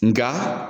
Nga